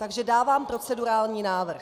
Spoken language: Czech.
Takže dávám procedurální návrh.